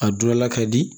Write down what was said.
A don la ka di